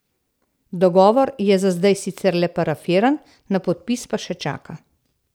Dogovor je za zdaj sicer le parafiran, na podpis pa še čaka.